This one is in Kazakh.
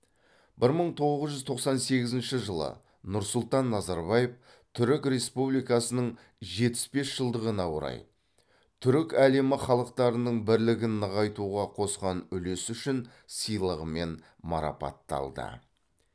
бір мың тоғыз жүз тоқсан сегізінші жылы нұрсұлтан назарбаев түрік республикасының жетпіс бес жылдығына орай түрік әлемі халықтарының бірлігін нығайтуға қосқан үлесі үшін сыйлығымен марапатталды